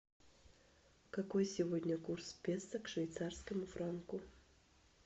какой сегодня курс песо к швейцарскому франку